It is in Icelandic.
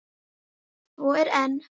Svo er enn.